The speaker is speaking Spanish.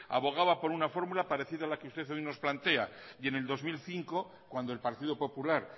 abogaba por una fórmula parecida a la que usted hoy nos plantea y en el dos mil cinco cuando el partido popular